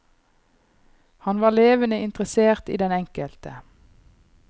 Han var levende interessert i den enkelte.